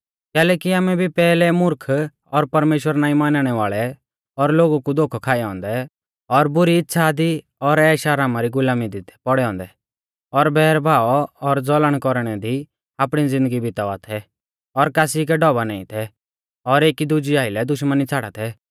कैलैकि आमै भी पैहलै मुर्ख और परमेश्‍वर नाईं मानणै वाल़ै और लोगु कु धोखै खाऐ औन्दै और बुरी इच़्छ़ा दी और ऐशआरामा री गुलामी दी थै पौढ़ै औन्दै और बैर भाव और ज़लन कौरणै दी आपणी ज़िन्दगी बितावा थै और कासी कै ढौभा नाईं थै और एकी दुजै आइलै दुश्मनी छ़ाड़ा थै